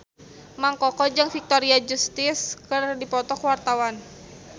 Mang Koko jeung Victoria Justice keur dipoto ku wartawan